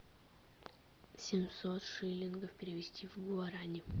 семьсот шиллингов перевести в гуарани